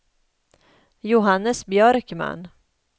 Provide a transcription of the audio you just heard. Johannes Björkman